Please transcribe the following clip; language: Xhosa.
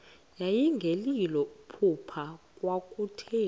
yayingelilo phupha kwakutheni